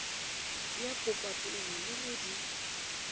ya popapolelo le ge di